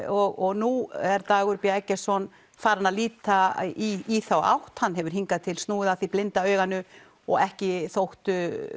og nú er Dagur b Eggertsson farinn að líta í þá átt hann hefur hingað til snúið að því blinda auganu og ekki þótt